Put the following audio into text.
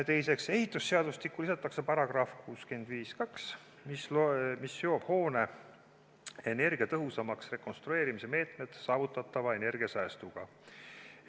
Teiseks, ehitusseadustikku lisatakse § 652, mis seob hoone energiatõhusamaks rekonstrueerimise meetmed saavutatava energiasäästuga.